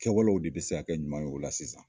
Kɛwalew de bɛ se ka kɛ ɲuman ye o la sisan